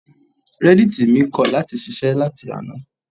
Reddit mi kọ̀ láti ṣiṣẹ́ láti àná.